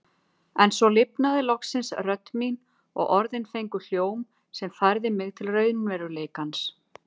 En svo lifnaði loksins rödd mín og orðin fengu hljóm sem færði mig til raunveruleikans.